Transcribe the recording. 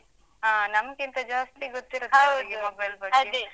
ಹ. ನಮ್ಕಿಂತ ಜಾಸ್ತಿ ಗೊತ್ತಿರುತ್ತೆ overla ಅವ್ರಿಗೆ, mobile ಬಗ್ಗೆ.